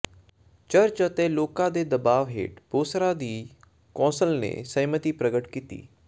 church ਅਤੇ ਲੋਕਾਂ ਦੇ ਦਬਾਅ ਹੇਠ ਬੌਸਰਾਂ ਦੀ ਕੌਂਸਲ ਨੇ ਸਹਿਮਤੀ ਪ੍ਰਗਟ ਕੀਤੀ